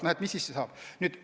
Aga mis siis saab?